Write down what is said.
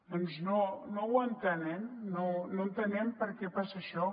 doncs no no ho entenem no entenem per què passa això